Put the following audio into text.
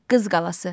Qız Qalası.